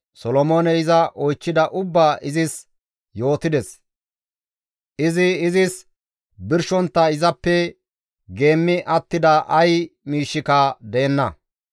Solomooney iza oychchida ubbaa izis yootides; izi izis birshontta izappe geemmi attida ay miishshika deenna.